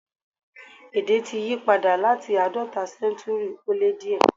Èdè ti yípadà láti àádọ́ta séntúrì ó lé díẹ̀.